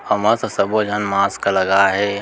अमा तो सभो झन मास्क लगाए हे।